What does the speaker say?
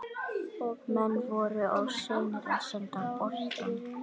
Menn voru of seinir að senda boltann.